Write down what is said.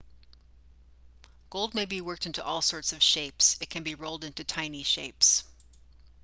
gold may be worked into all sorts of shapes it can be rolled into tiny shapes